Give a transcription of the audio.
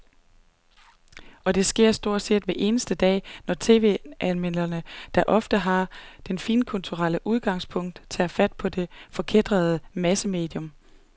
Og det sker stort set hver eneste dag, når tv-anmelderne, der ofte har det finkulturelle udgangspunkt, tager fat på det forkætrede massemedium.